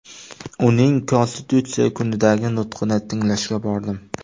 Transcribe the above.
Uning... Konstitutsiya kunidagi nutqini tinglashga bordim.